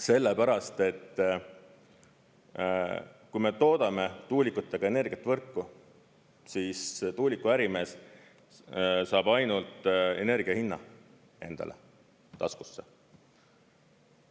Sellepärast et kui me toodame tuulikutega energiat võrku, siis tuulikuärimees saab ainult energia hinna endale taskusse.